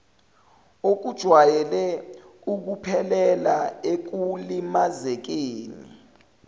okujwayele ukuphelela ekulimazekeni